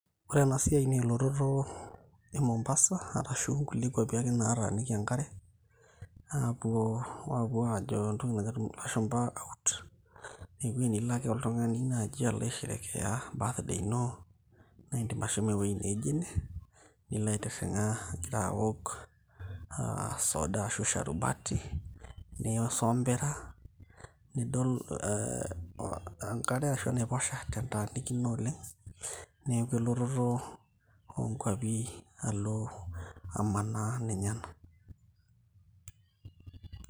Ore ena siai naa elototo e mombasa arashu nkulie kuapi ake nataaniki enkare aapuo, apuo ajo entoki najo ilashumpa out naa ewueji nilo ake naaji oltung'ani naji alo aisherekea birthday ino naindim ashomo ewueji neijo ene nilo aitirring'a nilo igira awok uh, soda ashu sharubati nisombera nidol eh, enkare ashu enaiposha tentanikino oleng neeku elototo oonkuapi alo amanaa ninye ena.